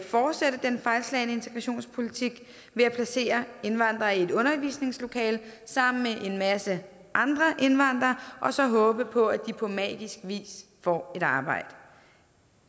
fortsætte den fejlslagne integrationspolitik ved at placere indvandrere i et undervisningslokale sammen med en masse andre indvandrere og så håbe på at de på magisk vis får et arbejde